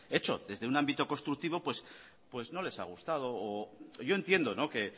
hecho desde un ámbito constructivo no les ha gustado o yo entiendo que